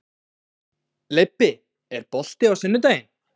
Leibbi, er bolti á sunnudaginn?